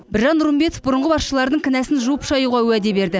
біржан нұрымбетов бұрынғы басшыларының кінәсін жуып шаюға уәде берді